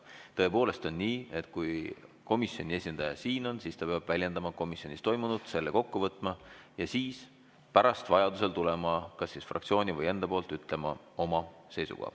Tõepoolest on nii, et kui komisjoni esindaja siin on, siis ta peab väljendama komisjonis toimunut, selle kokku võtma ja siis pärast vajadusel tulema ja ütlema fraktsiooni või oma seisukoha.